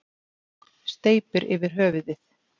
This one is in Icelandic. Steypir yfir höfuðið.